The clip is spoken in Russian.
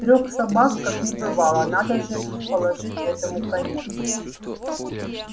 трёх собак как не бывало надо же положить этому конец